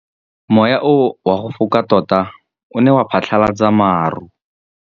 Mowa o wa go foka tota o ne wa phatlalatsa maru.